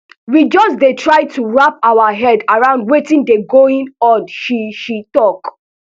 we just dey try to wrap our heads around wetin dey going on she she tok